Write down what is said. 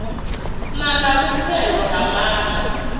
na na vhupfelo ha mare